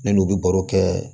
Ne n'u bɛ baro kɛ